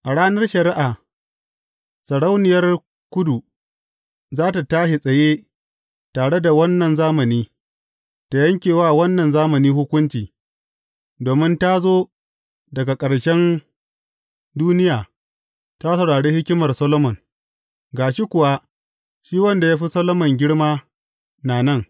A ranar shari’a, Sarauniyar Kudu za tă tashi tsaye tare da wannan zamani, ta yanke wa wannan zamani hukunci, domin ta zo daga ƙarshen duniya ta saurari hikimar Solomon, ga shi kuwa, shi wanda ya fi Solomon girma, na nan.